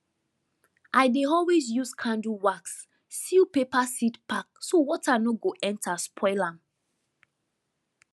i dey always use candle wax seal paper seed pack so water no go enter spoil am